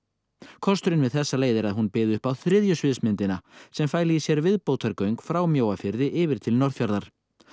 kosturinn við þessa leið er að hún byði upp á þriðju sviðsmyndina sem fæli í sér frá Mjóafirði yfir til Norðfjarðar